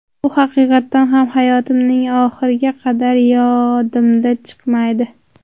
Bu haqiqatan ham hayotimning oxiriga qadar yodimdan chiqmaydi.